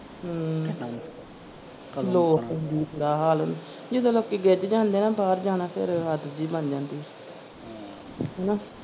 ਹਮ ਜਦੋਂ ਲੋਕੀ ਗਿੱਜ ਜਾਂਦੇ ਨਾ ਬਾਹਰ ਜਾਣਾ ਫਿਰ ਆਦਤ ਜੀ ਬਣ ਜਾਂਦੀ ਆ, ਹੈਨਾ।